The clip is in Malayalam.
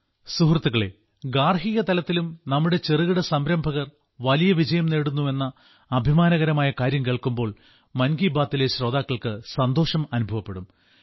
സുഹൃത്തുക്കളേ ഗാർഹികതലത്തിലും നമ്മുടെ ചെറുകിട സംരംഭകർ വലിയ വിജയം നേടുന്നു എന്ന അഭിമാനകരമായ കാര്യം കേൾക്കുമ്പോൾ മൻ കി ബാത്തിലെ ശ്രോതാക്കൾക്ക് സന്തോഷം അനുഭവപ്പെടും